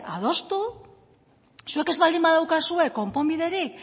adostu zuek ez baldin badaukazue konponbiderik